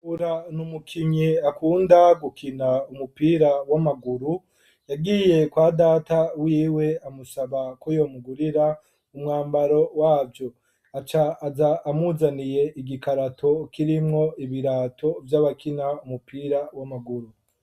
Ura na umukinyi akunda gukina umupira w'amaguru yagiye kwa data wiwe amusaba ko yomugurira umwambaro wavyo aca aza amuzaniye igikarato kirimwo ibirato vy'abakina umupira w'amaguru.